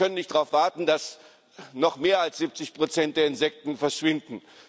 Wir können nicht darauf warten, dass noch mehr als 70 der Insekten verschwinden.